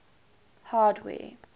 hardware